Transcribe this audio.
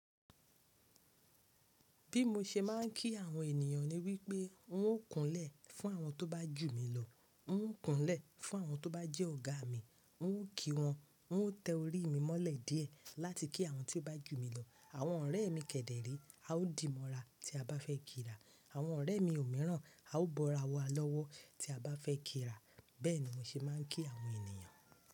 Bí mo ṣe máa ń kí àwọn ènìyàn ni wípé n ó kunlẹ̀ fún àwọn tó bá jù mí lọ, n ó kunlẹ̀ fún àwọn tó bá jẹ́ ọ̀gá mi, n ó kí wọn, n ó tẹ orí mi mọ́lẹ̀ díẹ̀ láti kí àwọn tí ó bá jù mí lọ. Àwọn ọ̀rẹ́ mi kẹ̀dẹ̀ ré, a ó dìmọ̀ ra tí a bá fẹ́ kira. Àwọn ọ̀rẹ́ mi òmíràn, a ó bọra wa lọ́wọ́ tí a bá fẹ́ kira. Bẹ́ẹ̀ ni mo ṣe máa ń kí àwọn ènìyàn.